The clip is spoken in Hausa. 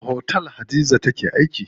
A wani otel Hadiza take aiki?